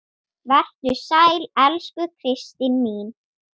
Vertu sæl, elsku Kristín mín.